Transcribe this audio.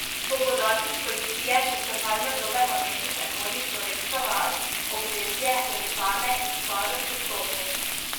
Po podatkih policije so čakalne dobe na mejnih prehodih Slovenska vas, Obrežje, Jelšane in Starod pri vstopu.